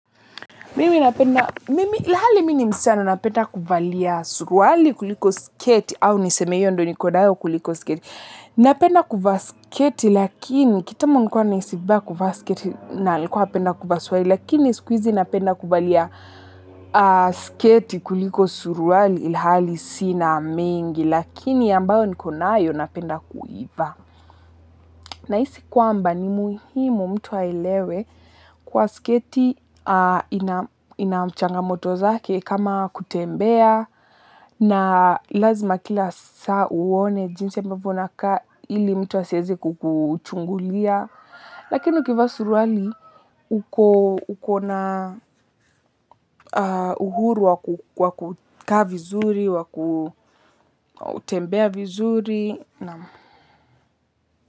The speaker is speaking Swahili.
Mimi napenda, ilhali mimi ni msichana napenda kuvalia suruali kuliko sketi au niseme hiyo ndo niko nayo kuliko sketi napenda kuvaa sketi lakini kitambo nilikuwa nahisi vibaya kuvaa sketi na nilikua napenda kuvaa suruali lakini siku hizi napenda kuvalia sketi kuliko suruali ilhali sina mengi lakini ambayo nikonayo napenda kuivaa. Nahisi kwamba ni muhimu mtu aelewe kuwa sketi ina ina mchangamoto zake kama kutembea na lazima kila saa uone jinsi ambavyo unakaa ili mtu asieze kukuchungulia. Lakini ukivaa suruali uko na uhuru wa kukaa vizuri, wa kutembea vizuri.